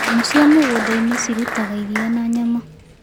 Nyamũ cĩa mĩgũndaĩnĩ cĩrũtaga ĩrĩa na nyama